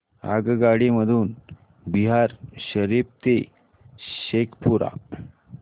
आगगाडी मधून बिहार शरीफ ते शेखपुरा